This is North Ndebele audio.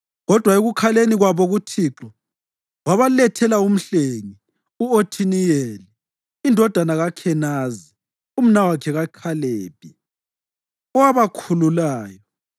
Kodwa ekukhaleni kwabo kuThixo, wabalethela umhlengi, u-Othiniyeli indodana kaKhenazi, umnawakhe kaKhalebi, owabakhululayo.